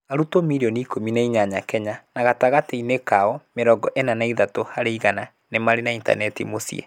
Arutwo mirioni ikũmi na inyanya Kenya, na gatagatĩ-inĩ kao mĩrongo ĩna na ithatũ harĩ igana nĩ marĩ na intaneti mũciĩ.